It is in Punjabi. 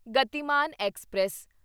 ਗਤੀਮਾਨ ਐਕਸਪ੍ਰੈਸ